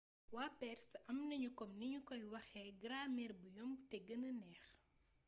waa perse amnaniu kom nignu koy waxé gramer bou yomb té guena neex